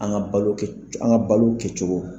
An ka balo kɛ an ka balo kɛcogo.